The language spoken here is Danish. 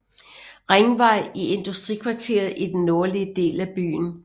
Ringvej i industrikvarteret i den nordlige del af byen